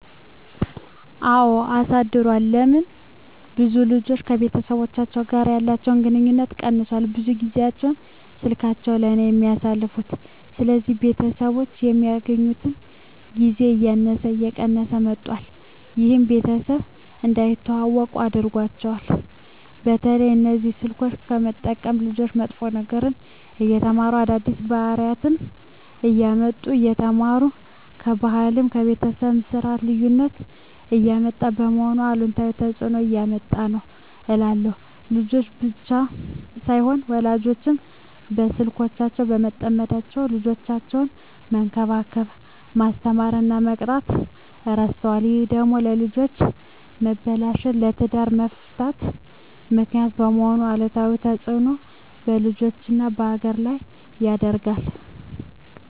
አወ አሳድሯል ለምን ብዙ ልጆች ከቤተሰቦቻቸው ጋር ያለቸዉ ግንኙነት ቀነሷል ብዙ ጊያቸዉን ስላካቸዉ ላይ ነዉ የሚያሳልፉት ስለዚህ ቤተሰቦች የሚገናኙበት ጊዜ እያነሰ እየቀነሰ መጧት ይሄም ቤተሰብ እንዳይተዋወቁ አድርጓቸዋል። በተለይ እነዚህ ስልኮችን በመጠቀም ልጆች መጥፎ ነገሮችን እየተማሩ አዳዲስ ባህሪወችነሰ እያመጡ እየተማሩ ከባህልም ከቤተሰብም የስርት ልዩነት እያመጡ በመሆኑ አሉታዊ ተጽእኖ እያመጣ ነዉ እላለሁ። ልጆች ብቻም ሳይሆኑ ወላጆችም በስልኮች በመጠመዳቸዉ ልጆቻቸዉነሰ መንከባከብ፣ መስተማር እና መቅጣት እረስተዋል ይሄ ደግሞ ለልጆች መበላሸት ለትዳር መፍረስ ምክንያት በመሄን አሉታዊ ተጽእኖ በልጆችም በሀገርም ላይ ያደርሳል።